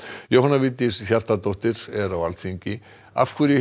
Jóhanna Vigdís Hjaltadóttir er á Alþingi af hverju